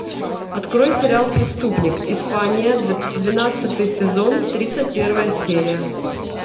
открой сериал преступник испания двенадцатый сезон тридцать первая серия